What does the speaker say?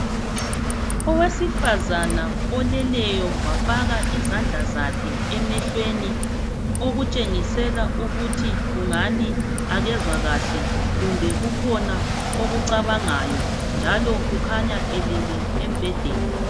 Owesifazana oleleyo wafaka izandla zakhe emehlweni okutshengisela ukuthi kungani akezwa kahle kumbe kukhona okucabangayo njalo kukhanya elele embhedeni